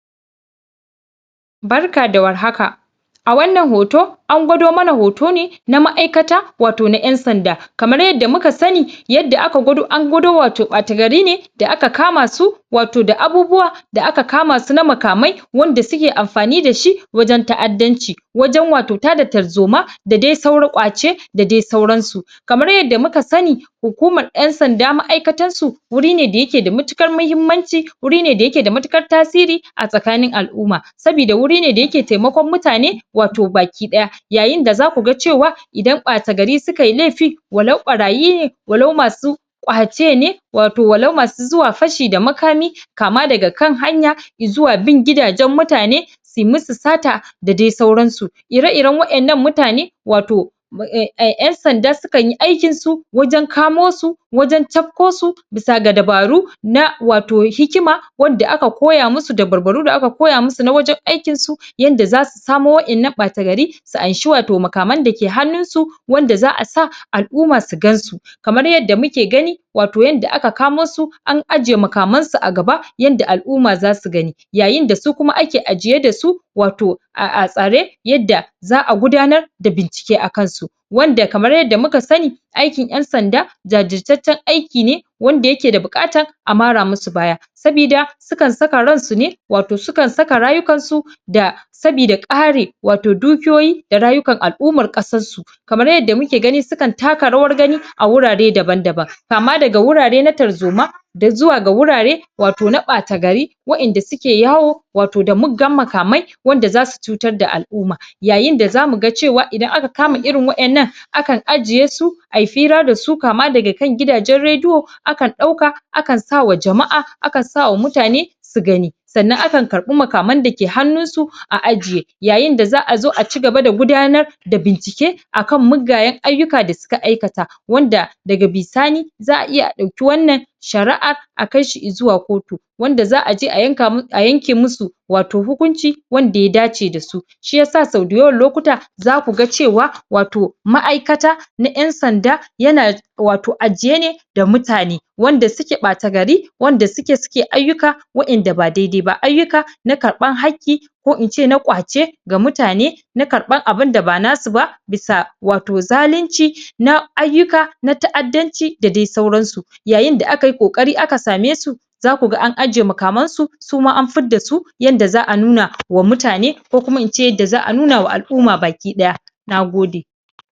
Barka da warhaka a wannan hoto an gwado mana hoto ne na ma'aikata wato na ƴan sanda kamar yadda muka sani yadda aka gwado, an gwado wato ɓata gari ne da aka kama su wato da abubuwa da aka kama su na makamai wanda suke amfani da shi wajen ta'addanci wajen wato tada tarzoma da dai sauri ƙwace da dai sauran su kamar yadda muka sani hukumar ƴan'sanda ma'aikatar su wuri ne da yake da matuƙar mahimmanci wuri ne da yake da matuƙar tasiri a tsakanin al'umma sabida wuri ne da yake taimakon mutane wato bakiɗaya yayin da zaku ga cewa idan ɓata gari suka yi laifi walau ɓarayi ne walau masu ƙwace ne wato walau masu zuwa fashi da makami kama daga kan hanya i zuwa bin gidajen mutane su yi musu sata da dai sauran su ire-iren waƴannan mutane wato eh, eh, ƴan sanda sakan yi aikin su wajen kamo su wajen cafko su bisa da dabaru na wato hikima wanda aka koya musu dabarbaru da aka koya musu na wajen aikin su yanda zasu kamo waƴannan ɓata gari su anshi wato makaman da ke hannun su wanda za'a sa al'umma su gan su kamar yadda muke gani wato yanda aka kamo su an ajiye makaman su a gaba yanda al'umma zasu gani yayin da su kuma ake ajiye da su wato ah ah tsare yadda za'a gudanar da bincike akan su wanda kamar yadda muka sani aikin ƴan sanda jajirtaccen aiki ne wanda yake da buƙata a mara musu baya sabida sukan saka ran su ne wato sukan saka rayukan su da sabida kare wato dukiyoyi da rayukan al'umman ƙasar su kamar yadda muke gani su kan taka rawar gani a wurare daban-daban kama daga wurare na tarzoma izuwa ga wurare wato na ɓata gari waƴanda suke yawo wato da muggan makamai wanda zasu cutar da al'umma yayin da zamu ga cewa idan aka kama irin waƴannan akan ajiye su a fira da su kama daga kan gidajen rediyo akan ɗauka akan sa wa jama'a a kan sa sa wa mutane su gani sannan akan karɓi makaman da ke hannun su a ajiye yayin da za'a zo a cigaba da gudanar da bincike akan muggayen ayyuka da suka aikata wanda daga bisani za'a iya a ɗauki wannan shari'an a kai shi izuwa kotu wanda za'a je a yanka, a yanke musu wato hukunci wanda ya dace da su shiyasa sau da yawan lokuta zaku ga cewa wato ma'aikata na ƴan sanda yana wato ajiye ne da mutane wanda suke ɓata gari wanda suke, suke ayyuka waƴanda ba dai-dai ba, ayyuka na karɓan hakki ko ince na ƙwace ga mutane na karɓan abinda ba na su ba bisa wato zalunci na ayyuka na ta'addanci da dai sauran su yayin da aka yi ƙoƙari aka same su zaku ga an ajiye makaman su suma an fidda su yanda za'a nuna wa mutane ko kuma ince yadda za'a nuna ma al'umma bakiɗaya na gode.